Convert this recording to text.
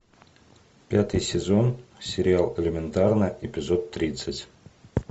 пятый сезон сериал элементарно эпизод тридцать